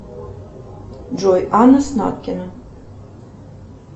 джой анна снаткина